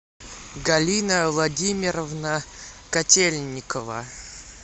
галина владимировна котельникова